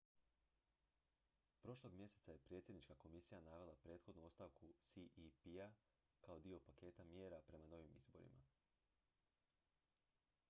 prošlog mjeseca je predsjednička komisija navela prethodnu ostavku cep-a kao dio paketa mjera prema novim izborima